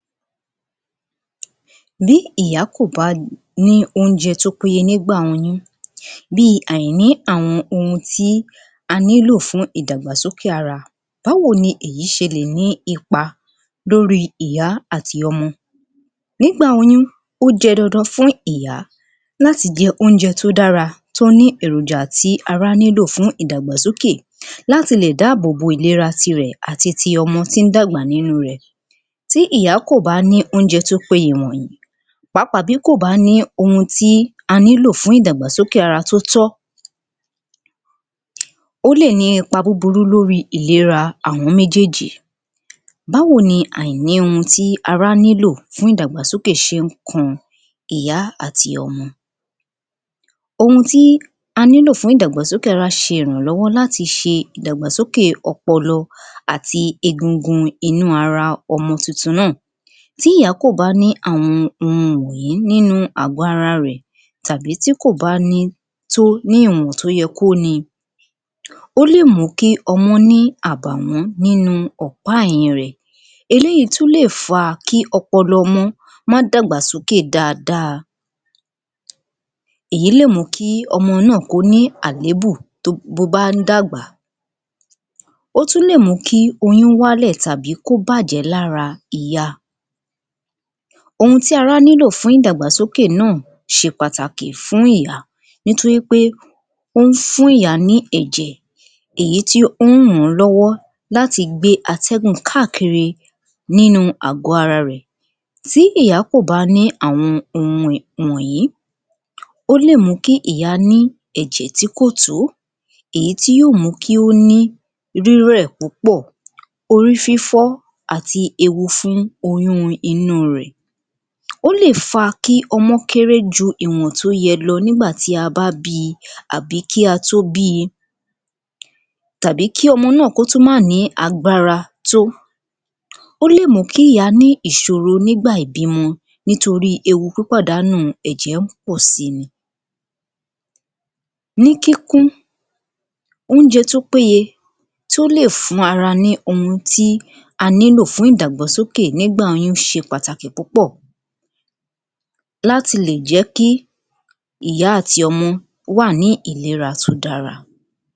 Bí ìyá kò bá ní oúnjẹ tí ó péye nígbà oyún bíi àìní àwọn ohun tí a nílò fún ìdàgbàsókè ara, báwo ni èyí ṣe lè ní ipa lórí ìyá àti ọmọ, nígbà oyún ó ṣe dandan fún ìyá láti jẹ oúnjẹ tí ó dára tí ó ní èròjà tí ara nílò fún ìdàgbàsókè láti lè dábòbò ìléra tirẹ̀ àti ọmọ tí ń dàgbà nínú rẹ̀. Ti ìyá kò bá ní oúnjẹ tí ó péye wọ̀nyìí páàpá tí kò bá ní ohun tí a nílò fún ìdàgbàsókè ara tí ó tọ́, ó lè ní ipá búburú lórí ìléra àwọn méjèèjì. Báwo ni àìní ohun tí ara nílò fún ìdàgbàsókè ṣé ń kan ìyá àti ọmọ. Ohun tí a nílò fún ìdàgbàsókè ara ṣe ìrànlọ́wọ́ láti ṣe ìdàgbàsókè ọpọlọ bíi egungun inú ara ọmọ tuntun náà. Tí ìyá kò bá ní àwọn ohun yìí nínú àgò ara rẹ̀ tàbí tí kò bá ni tó ní ìwọ̀n tí ó yẹ kí ó ni, ó lè mú kí ọmọ ni àbàwún nínú ọ̀pá ẹ̀yìn rẹ̀, eléyìí tún lè fà kí ọpọlọ ọmọ máa dàgbà sókè dáadáa, èyí lè mú kí ọmọ náà ní àléébù bí ó bá ń dàgbà, ó tún lè mú kí oyún wá lẹ̀ tàbí kó bàjẹ́ lára ìyá. Ohun tí ara nílò fún ìdàgbàsókè náà ṣe pàtàkì fún ìyá nítorí pé ó fún ìyá ní ẹ̀jẹ̀, èyí tí ó ń ràn lọ́wọ́ láti gbé ategun káàkiri nínú àgò ara rẹ̀. Ti ìyá kò bá ní àwọn ohun wọ̀nyìí, ó lè mú kí ìyá ní ẹ̀jẹ̀ tí kò tó, èyí tí yóò mú kí ó ní rírẹ̀ púpọ̀, orí fífọ́ àti ewu fún oyún inú rẹ̀. Ó lè fa kí ọmọ kéré ju ìwọ̀n tí ó yẹ lọ nígbà tí a bá bi àbí kí a tó bi, tàbí kí ọmọ náà tún mà a ní agbára tó. Ó lè mú kí ìyá ní ìṣòro nígbà ìbímọ nítorí ewu pípàdánù ẹ̀jẹ̀ ń pọ̀si ni. Ní kíkún, oúnjẹ tí ó péye tí ó lè fún ara ní ohun tí a nílò fún ìdàgbàsókè nígbà oyún ṣe pàtàkì púpọ̀, láti lè jẹ́ kí ìyá àti ọmọ wà ní ìléra tí ó dára